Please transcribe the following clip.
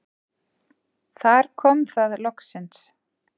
Þar kom það loksins.